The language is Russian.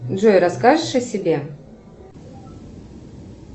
джой расскажешь о себе